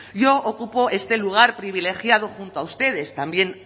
yo ocupo este lugar privilegiado junto a ustedes también